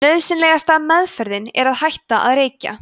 nauðsynlegasta „meðferðin“ er að hætta að reykja